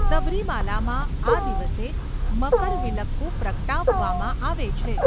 સબરીમાલામાં, આ દિવસે, મકરવિલક્કુ પ્રગટાવવામાં આવે છે.